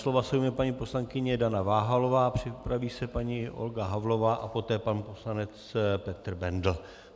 Slova se ujme paní poslankyně Dana Váhalová, připraví se paní Olga Havlová a poté pan poslanec Petr Bendl.